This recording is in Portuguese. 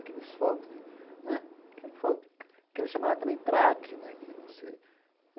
Aqueles fogos de né aqueles fogos que eles chamavam também traque né que não se.